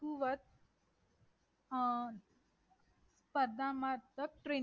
कुवत स्पर्धा मागत tread